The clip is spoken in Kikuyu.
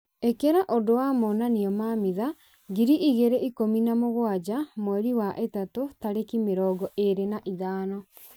ĩkĩra ũndũ wa monanio ma mitha ngiri igĩrĩ ikũmi na mũgwanja mweri wa ĩtatũ tarĩki mĩrongo ĩrĩ na ithano